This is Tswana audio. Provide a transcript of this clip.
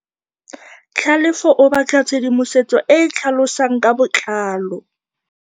Tlhalefô o batla tshedimosetsô e e tlhalosang ka botlalô.